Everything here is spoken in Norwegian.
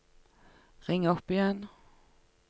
ring opp igjen